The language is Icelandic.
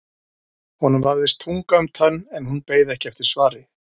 Honum vafðist tunga um tönn en hún beið ekki eftir svari.